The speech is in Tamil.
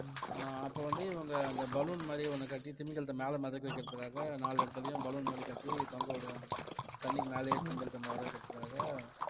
ஆஹ் அப்ப வந்து இவங்க அந்த balloon மாதிரி ஒண்ணு கட்டி திமிங்கலத்தை மேல மிதக்க வைக்கிறதுக்காக நாலு இடத்துலயும் balloon மாதிரி கட்டி தொங்க விடுவாங்க தண்ணிக்கு மேலயே திமிங்கலத்தை வர வைக்கிறதுக்காக